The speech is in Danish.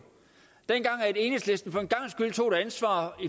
dengang enhedslisten